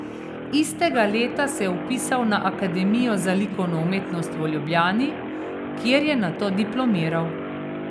Istega leta se je vpisal na Akademijo za likovno umetnost v Ljubljani, kjer je nato diplomiral.